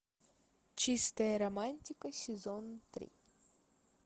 чистая романтика сезон три